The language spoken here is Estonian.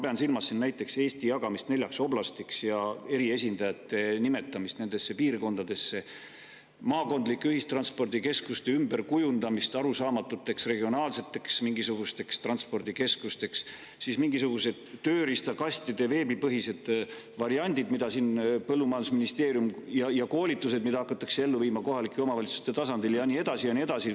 Ma pean siin silmas näiteks Eesti jagamist neljaks oblastiks ja eriesindajate nimetamist nendesse piirkondadesse, maakondlike ühistranspordikeskuste ümberkujundamist mingisugusteks arusaamatuteks regionaalseteks transpordikeskusteks, siis mingisuguseid tööriistakastide veebipõhiseid variante põllumajandusministeeriumis, koolitusi, mida hakatakse ellu viima kohalike omavalitsuste tasandil, ja nii edasi ja nii edasi.